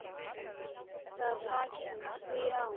Það taki því á.